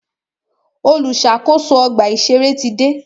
Olùṣàkóso ọgbà ìṣẹ̀rẹ́ ti dé.